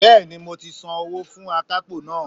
Bẹ́ẹ̀ni mo ti san owó fún akápò náà